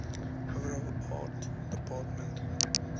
overall art department